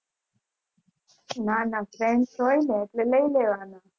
ના ના friends હોઈ ને એટલે લય લેવાનો